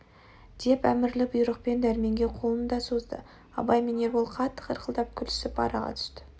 деп әмірлі бұйрықпен дәрменге қолын да созды абай мен ербол қатты қарқылдап күлісіп араға түсті